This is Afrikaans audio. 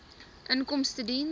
inkomstediens